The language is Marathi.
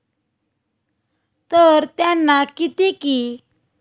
तर त्यांना किती कि.